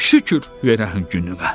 Şükür verənə hər gününə.